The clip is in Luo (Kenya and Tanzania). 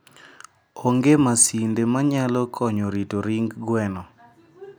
onge masinde manyalo konyo rito ring gweno.